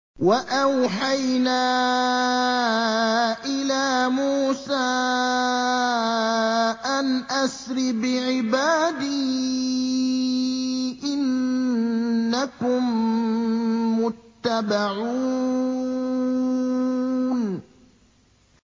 ۞ وَأَوْحَيْنَا إِلَىٰ مُوسَىٰ أَنْ أَسْرِ بِعِبَادِي إِنَّكُم مُّتَّبَعُونَ